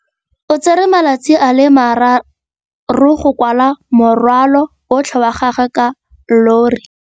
O tsere malatsi a le marraro go rwala morwalo otlhe wa gagwe ka llori.